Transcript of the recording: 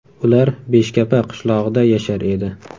Ular Beshkapa qishlog‘ida yashar edi.